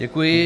Děkuji.